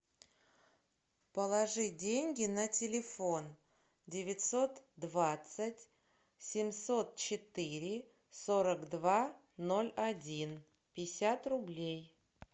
положи деньги на телефон девятьсот двадцать семьсот четыре сорок два ноль один пятьдесят рублей